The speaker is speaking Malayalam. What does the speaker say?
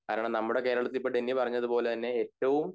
കാരണം നമ്മടെ കേരളത്തിൽ ഇപ്പൊ ടെന്നി പറഞ്ഞപോലെ തന്നെ ഏറ്റോം